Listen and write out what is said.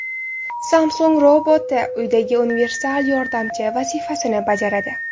Samsung roboti uydagi universal yordamchi vazifasini bajaradi.